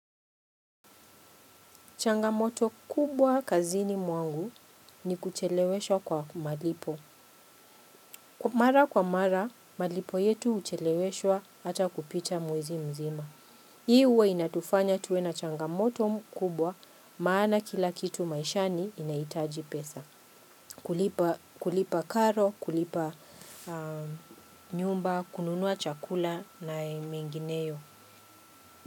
Changamoto kubwa kazini mwangu ni kucheleweshwa kwa malipo. Mara kwa mara, malipo yetu huchelewesho hata kupita mwezi mzima. Hii huwe inatufanya tuwe na changamoto mkubwa maana kila kitu maishani inahitaji pesa. Kulipa karo, kulipa nyumba, kununua chakula na mengineyo.